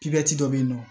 dɔ be yen nɔ